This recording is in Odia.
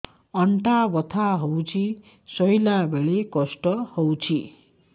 ଅଣ୍ଟା ବଥା ହଉଛି ଶୋଇଲା ବେଳେ କଷ୍ଟ ହଉଛି